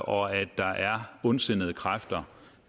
og at der er ondsindede kræfter